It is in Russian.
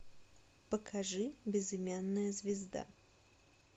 покажи безымянная звезда